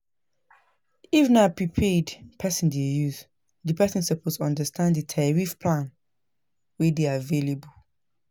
If na prepaid person dey use, di person suppose understand di tarrif plans wey dey available